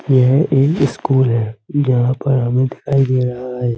यह ए स्कूल है। यहाँ पर हमें दिखाई दे रहा है।